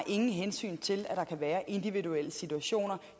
hensyn til at der kan være individuelle situationer